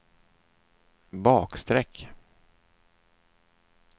bakstreck